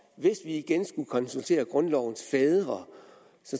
vi igen skulle konsultere grundlovens fædre